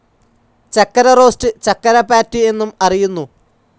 ചക്കരറോസ്‌റ്, ചക്കരപാറ്റ് എന്നും അറിയുന്നു.